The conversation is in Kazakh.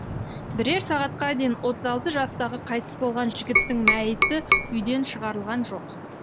бірер сағатқа дейін отыз алты жастағы қайтыс болған жігіттің мәйіті үйден шығарылған жоқ